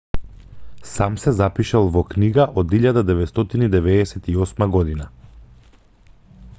сам се запишал во книга од 1998 година